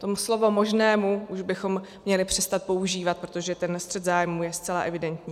To slovo "možnému" už bychom měli přestat používat, protože ten střet zájmů je zcela evidentní.